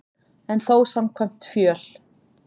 En þó samkvæmt fjöl